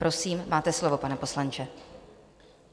Prosím máte slovo, pane poslanče.